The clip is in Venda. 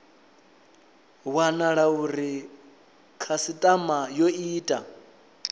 wanala uri khasitama yo ita